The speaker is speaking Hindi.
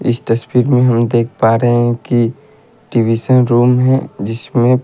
इस तस्वीर में हम देख पा रहे हैं की टवीशन रूम है जिसमें--